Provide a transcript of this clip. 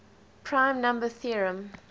prime number theorem